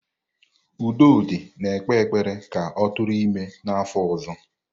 Udodi na-ekpe ekpere ka ọ tụrụ ime n'afọ ọzọ.